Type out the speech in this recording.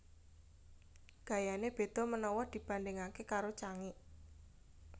Gayané beda menawa dibandingake karo Cangik